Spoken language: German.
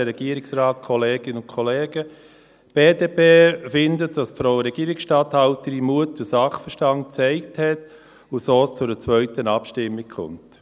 Die BDP findet, dass die Frau Regierungsstatthalterin Mut und Sachverstand gezeigt hat und es so zu einer zweiten Abstimmung kommt.